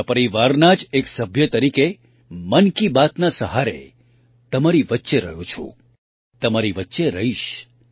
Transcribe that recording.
તમારા પરિવારના જ એક સભ્ય તરીકે મન કી બાતના સહારે તમારી વચ્ચે રહ્યો છું તમારી વચ્ચે રહીશ